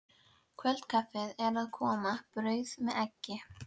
Kvöldkaffið er að koma, brauð með eggi.